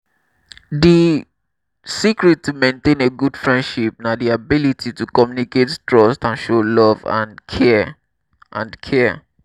di secret to maintain a good frienship na di ability to communicate trust and show love and care. and care.